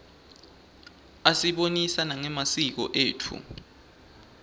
asibonisa nangemasiko etfu